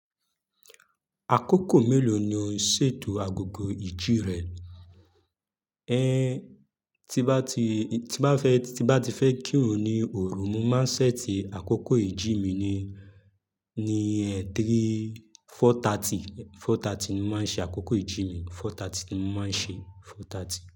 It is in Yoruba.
Àkókò mélòó ni o ń ṣètò agogo ìjí rẹ? Ẹn, tí bá ti, tí bá fẹ́, tí bá ti fẹ́ kírun ni òru, mo máa ń ṣẹ́ti àkókò ìjí mi ni, ni ẹ̀ẹ́dárí, four thirty, four thirty ni mo máa ń ṣe àkókò ìjí mi, four thirty ni mo máa ń ṣe, four thirty.